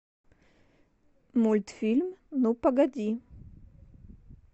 мультфильм ну погоди